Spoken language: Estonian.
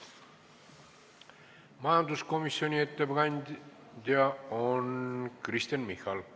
Majanduskomisjoni ettekandja on Kristen Michal.